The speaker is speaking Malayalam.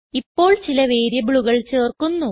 ഇപ്പോൾ ചില വേരിയബിളുകൾ ചേർക്കുന്നു